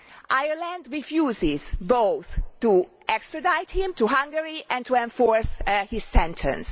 Ireland refuses both to extradite him to Hungary and to enforce his sentence.